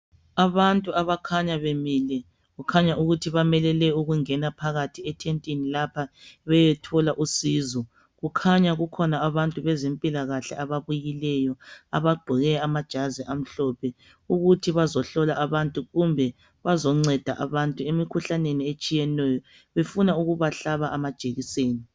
Abantu abakhanya bemile kukhanya ukuthi bamelele ukungena phakathi etentini lapha beyethola usizo. Kukhanya kukhona abantu abezempilakahle ababuyileyo abagqoke amajazi amhlophe ukuthi bazehlola abantu kumbe bazenceda abantu emikhuhlaneni etshiyeneyo befuna ukubahlaba amajekiseni.